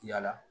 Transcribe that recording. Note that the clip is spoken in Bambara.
Yala